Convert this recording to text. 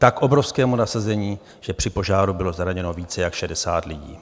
Tak obrovskému nasazení, že při požáru bylo zraněno více jak 60 lidí.